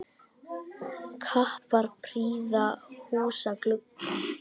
Kappar prýða húsa glugga.